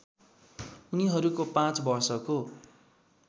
उनीहरूको पाँच वर्षको